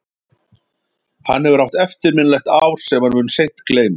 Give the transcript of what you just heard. Hann hefur átt eftirminnilegt ár sem hann mun seint gleyma.